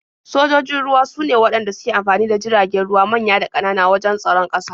Sojojin ruwa sune waɗanda suke amfani da jiragen ruwa manya da ƙanana wajen tsaron ƙasa.